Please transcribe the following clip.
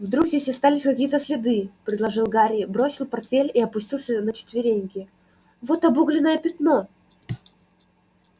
вдруг здесь остались какие-то следы предложил гарри бросил портфель и опустился на четвереньки вот обугленное пятно